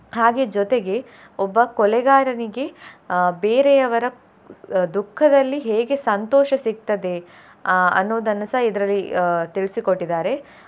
ಹಾಗೆ ಜೊತೆಗೆ ಒಬ್ಬ ಕೊಲೆಗಾರನಿಗೆ ಅಹ್ ಬೇರೆಯವರ ದುಃಖದಲ್ಲಿ ಹೇಗೆ ಸಂತೋಷ ಸಿಗ್ತದೆ ಅಹ್ ಅನ್ನೋದನ್ನಸ ಇದ್ರಲ್ಲಿ ಅಹ್ ತಿಳಿಸಿಕೊಟ್ಟಿದ್ದಾರೆ.